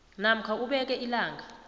namkha ubeke ilanga